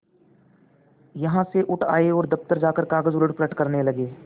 यहाँ से उठ आये और दफ्तर जाकर कागज उलटपलट करने लगे